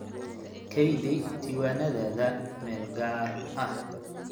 Kaydi diiwaannadaada meel gaar ah.